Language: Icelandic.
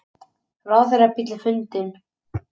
Ráðherrabíll er fundinn